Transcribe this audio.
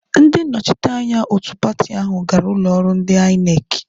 Ndị nnọchite anya òtù pati áhụ̀ gara ụlọọrụ ndị Aịnekị.